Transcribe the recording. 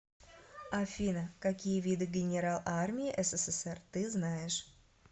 афина какие виды генерал армии ссср ты знаешь